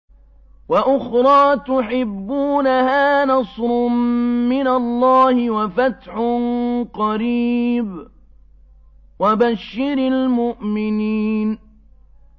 وَأُخْرَىٰ تُحِبُّونَهَا ۖ نَصْرٌ مِّنَ اللَّهِ وَفَتْحٌ قَرِيبٌ ۗ وَبَشِّرِ الْمُؤْمِنِينَ